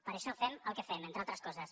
per això fem el que fem entre altres coses